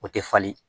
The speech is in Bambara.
O tɛ falen